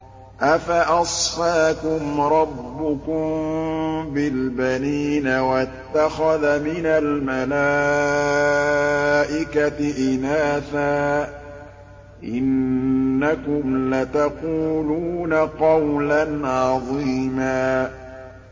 أَفَأَصْفَاكُمْ رَبُّكُم بِالْبَنِينَ وَاتَّخَذَ مِنَ الْمَلَائِكَةِ إِنَاثًا ۚ إِنَّكُمْ لَتَقُولُونَ قَوْلًا عَظِيمًا